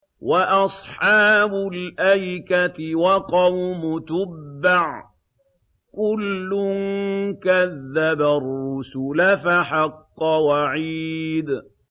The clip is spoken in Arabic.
وَأَصْحَابُ الْأَيْكَةِ وَقَوْمُ تُبَّعٍ ۚ كُلٌّ كَذَّبَ الرُّسُلَ فَحَقَّ وَعِيدِ